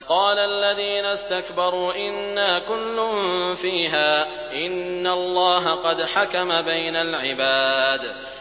قَالَ الَّذِينَ اسْتَكْبَرُوا إِنَّا كُلٌّ فِيهَا إِنَّ اللَّهَ قَدْ حَكَمَ بَيْنَ الْعِبَادِ